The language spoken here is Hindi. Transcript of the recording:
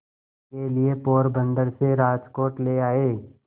के लिए पोरबंदर से राजकोट ले आए